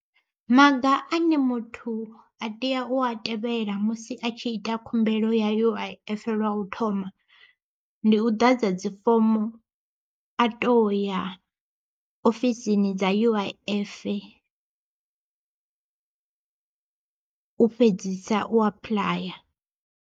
Maga ane muthu a tea u a tevhela musi a tshi ita khumbelo ya U_I_F lwa u thoma, ndi u ḓadza dzifomo a to ya ofisini dza U_I_F u fhedzisa u apuḽaya.